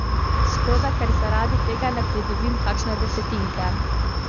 Škoda, ker zaradi tega ne pridobim kakšne desetinke!